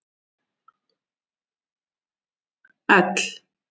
I